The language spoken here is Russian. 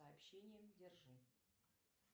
сообщением держи